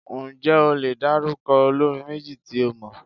Ǹjẹ́ o lè dárúkọ olórin méjì tí ó mọ?